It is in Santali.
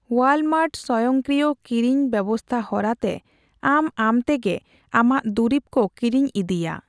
ᱳᱭᱟᱞᱢᱟᱨᱴ ᱥᱵᱭᱝᱠᱤᱨᱭ ᱠᱤᱨᱤᱧ ᱵᱮᱵᱥᱛᱷᱟ ᱦᱚᱨᱟ ᱛᱮ ᱟᱢ ᱟᱢ ᱛᱮᱜᱮ ᱟᱢᱟᱜ ᱫᱩᱨᱤᱵ ᱠᱚ ᱠᱤᱨᱤᱧ ᱤᱫᱤᱭᱟ ᱾